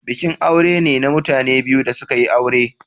Bikin aure ne na mutane biyu da suka yin aure.